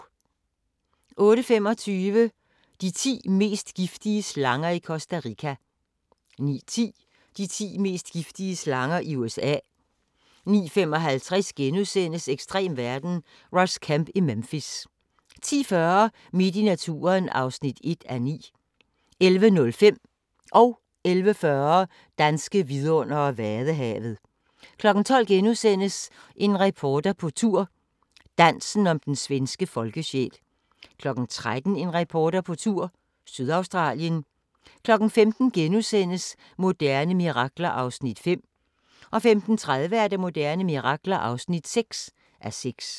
08:25: De ti mest giftige slanger i Costa Rica 09:10: De ti mest giftige slanger i USA 09:55: Ekstrem verden – Ross Kemp i Memphis * 10:40: Midt i naturen (1:9) 11:05: Danske vidundere: Vadehavet 11:40: Danske vidundere: Vadehavet 12:00: En reporter på tur – Dansen om den svenske folkesjæl * 13:00: En reporter på tur – Sydaustralien 15:00: Moderne mirakler (5:6)* 15:30: Moderne mirakler (6:6)